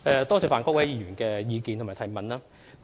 多謝范國威議員的意見及補充質詢。